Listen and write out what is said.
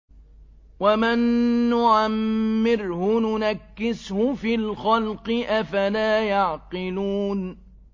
وَمَن نُّعَمِّرْهُ نُنَكِّسْهُ فِي الْخَلْقِ ۖ أَفَلَا يَعْقِلُونَ